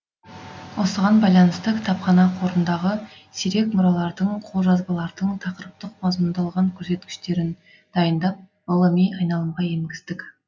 осыған байланысты кітапхана қорындағы сирек мұралардың қолжазбалардың тақырыптық мазмұндалған қөрсеткіштерін дайындап ғылыми айналымға енгіздік